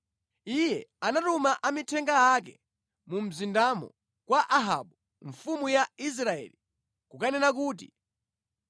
Iye anatuma amithenga ake mu mzindamo kwa Ahabu mfumu ya Israeli, kukanena kuti,